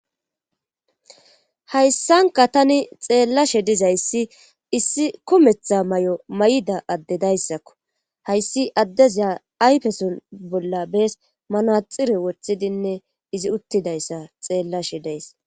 Hayssanka tani xeellashe dizayssi issi kometha may'o may'ida adde dayssakko hayssi addeziya ayfeson bolla bees manaxire woththidinne izi uttidayssa xeellashe days.